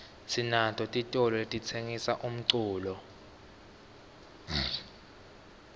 sinato titolo letitsengisa umculo